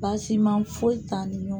Baasima foyi ta ni ɲɔgɔn.